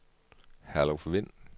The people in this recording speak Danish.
Herluf Wind